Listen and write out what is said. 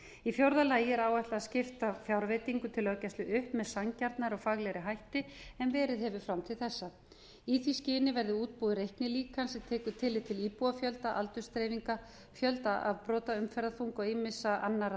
í fjórða lagi er áætlað að skipta fjárveitingu til löggæslu upp með sanngjarnari og faglegri hætti en verið hefur fram til þessa í því skyni verði útbúið reiknilíkan sem tekur tillit til íbúafjölda aldursdreifingar fjölda afbrota umferðarþunga og ýmissa annarra